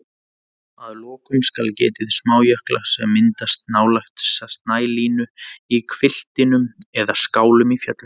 Að lokum skal getið smájökla sem myndast nálægt snælínu í hvilftum eða skálum í fjöllum.